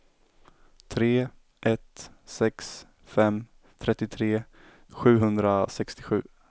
tre ett sex fem trettiotre sjuhundrasextiosju